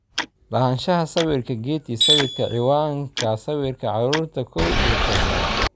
Lahaanshaha sawirka Getty sawirka ciwanka sawirka Carruurta kow iyo tobnaad.